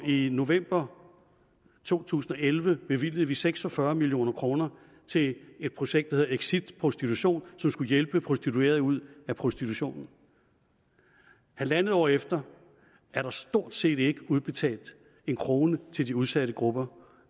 i november to tusind og elleve bevilgede vi seks og fyrre million kroner til et projekt der hedder exit prostitution som skulle hjælpe prostituerede ud af prostitution halvandet år efter er der stort set ikke udbetalt en krone til de udsatte grupper